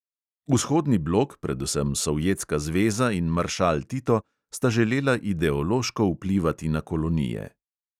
Vzhodni blok, predvsem sovjetska zveza in maršal tito, sta želela ideološko vplivati na kolonije.